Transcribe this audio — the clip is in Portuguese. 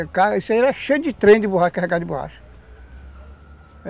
era cheio de trem de borracha, carregado de borracha.